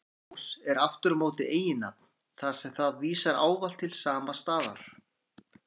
Blönduós er aftur á móti eiginnafn, þar sem það vísar ávallt til sama staðar.